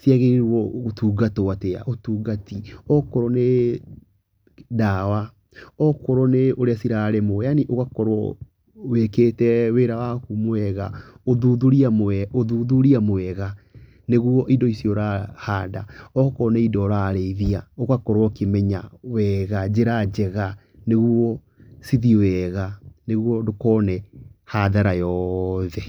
ciagĩrĩirwo gũtungtwo atĩa, ũtungati, akorwo nĩ dawa, akorwo nĩ ũrĩa cirarĩmwo, yaani ũgaorwo wĩkĩte wĩra waku wega, ũthuthuria mwe, ũthuthuria mwega, nĩguo indo icio ũrahanda , Akorwo nĩ indo ũrarĩithia, ũgakorwo ũkĩmenya wega njĩra njega, nĩguo cithiĩ wega, nĩgui ndũkone hathara yoothe.